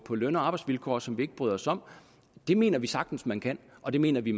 på løn og arbejdsvilkår som vi ikke bryder os om det mener vi sagtens man kan og det mener vi